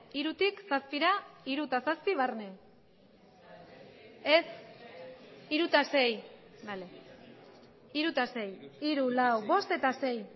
hirutik seira hiru eta sei